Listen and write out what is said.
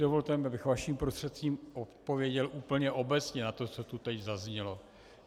Dovolte mi, abych vaším prostřednictvím odpověděl úplně obecně na to, co tu teď zaznělo.